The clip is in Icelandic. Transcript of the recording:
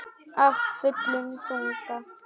Af fullum þunga.